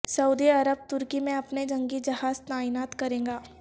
سعودی عرب ترکی میں اپنے جنگی جہاز تعینات کرے گا